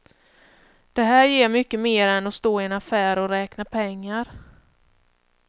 Det här ger mycket mer än att stå i en affär och räkna pengar.